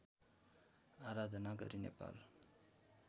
आराधना गरी नेपाल